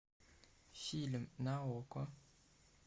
фильм на окко